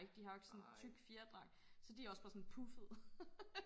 de har jo ikke sådan tyk fjerdragt så de også bare sådan puffede